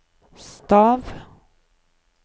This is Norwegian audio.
stav